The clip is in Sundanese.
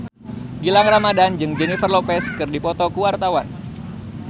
Gilang Ramadan jeung Jennifer Lopez keur dipoto ku wartawan